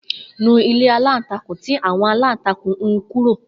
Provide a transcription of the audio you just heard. Nu ilé aláǹtakùn tí àwon aláǹtakùn hun kúrò.